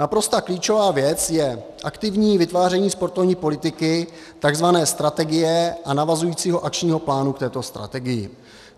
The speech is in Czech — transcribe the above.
Naprosto klíčová věc je aktivní vytváření sportovní politiky, takzvané strategie, a navazujícího akčního plánu k této strategii.